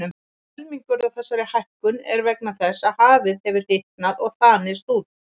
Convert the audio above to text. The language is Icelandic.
Helmingur af þessari hækkun er vegna þess að hafið hefur hitnað og þanist út.